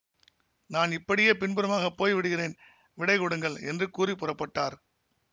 நான் இப்படியே பின்புறமாக போய் விடுகிறேன் விடை கொடுங்கள் என்று கூறி புறப்பட்டார்